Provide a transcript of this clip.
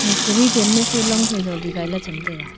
e siri chan ma su long phai jali gaila cham taiga.